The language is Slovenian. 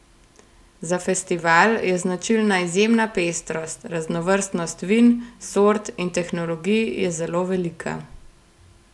Za festival je značilna izjemna pestrost, raznovrstnost vin, sort in tehnologij je zelo velika.